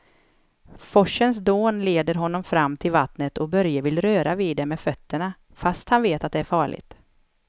Forsens dån leder honom fram till vattnet och Börje vill röra vid det med fötterna, fast han vet att det är farligt.